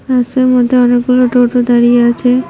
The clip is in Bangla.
রাস্তার মধ্যে অনেকগুলো টোটো দাঁড়িয়ে আছে।